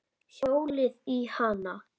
Hjólið í hana.